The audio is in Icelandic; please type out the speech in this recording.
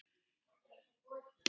En af hverju er það?